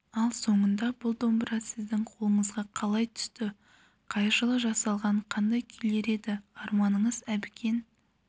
ал сонда бұл домбыра сіздің қолыңызға қалай түсті қай жылы жасалған қандай күйлер еді арманыңыз әбікен